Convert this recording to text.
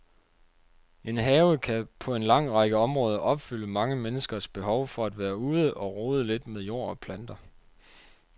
En have kan på en lang række områder opfylde mange menneskers behov for at være ude og rode lidt med jord og planter.